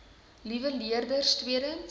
liewe leerders tweedens